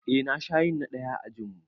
Eh na sha yin na ɗaya a ajinmu